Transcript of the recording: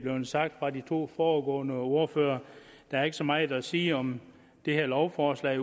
blevet sagt af de to foregående ordførere der er ikke så meget at sige om det her lovforslag